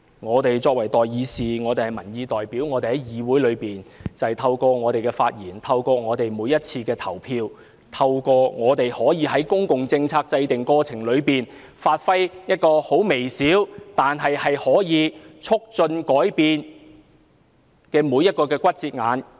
我們作為代議士和民意代表，透過在議會的發言和投票，在公共政策制訂過程中的每一個節骨眼發揮微小，但可以促進改變的作用。